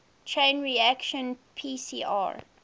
chain reaction pcr